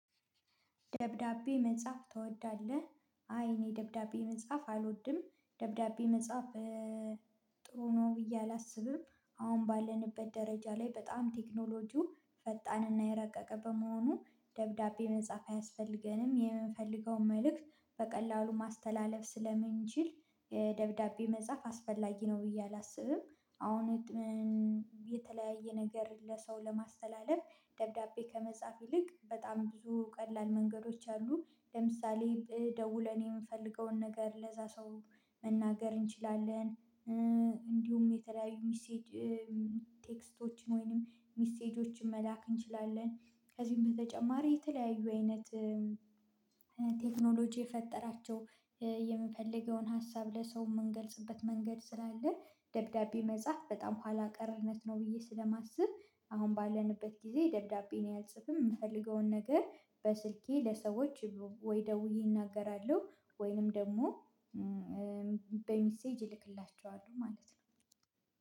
ደብዳቤ መጻፍ ትወዳለህ? አይ እኔ ደብዳቤ መጻፍ አልወድም ደብዳቤ መጻፍ ጥሩ ነው ብዬ አላስብም አሁን ባለንበት ደረጃ ላይ በጣም ቴክኖሎጂው ፈጣንና የረቀቀ በመሆኑ ደብዳቤ መጻፍ አያስፈልገንም የምንፈልገውን መልእክት በቀላሉ ማስተላለፍ ስለምንችል ደብዳቤ መጻፍ አስፈላጊ ነው ብዬ አላስብም አሁን የተለያየ ነገር ለሰው ለማስተላለፍ ደብዳቤ ከመጻፍ ይልቅ በጣም ብዙ ቀላል መንገዶች አሉ ለምሳሌ ደውለን የምፈልገውን ነገር ለዛ ሰው መናገር እንችላለን እንዲሁም የተለያዩ ሚሴጅ ቴክስቶችን ወይንም ሚሴጆችን መላክ እንችላለን ከዚህም በተጨማሪ የተለያዩ አይነት ቴክኖሎጂ የፈጠራቸው የምፈልገውን ሀሳብ ለሰው የምንገልጽበት መንገድ ስላለ ደብዳቤ መጻፍ በጣም ኋላ ቀርነት ነው ብዬ ስለማስብ አሁን ባለንበት ጊዜ ደብዳቤ እኔ አልጽፍም የምፈልገውን ነገር በስልኬ ለሰዎች ወይ ደውዬ እናገራለሁ ወይንም ደግሞ በሚሴጅ እልክላቸዋል ማለት ነው